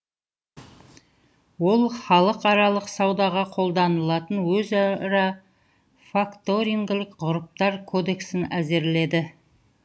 ол халықаралық саудаға қолданылатын өзара факторингілік ғұрыптар кодексін әзірледі